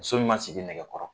Muso min ma sigi nɛgɛ kɔrɔ